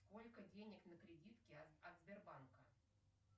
сколько денег на кредитке от сбербанка